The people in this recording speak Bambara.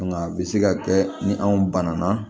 Nka a bɛ se ka kɛ ni anw bana na